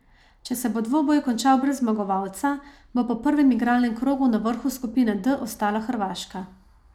Če se bo dvoboj končal brez zmagovalca, bo po prvem igralnem krogu na vrhu skupine D ostala Hrvaška.